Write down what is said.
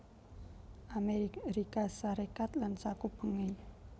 Amérika Sarékat lan sakupengé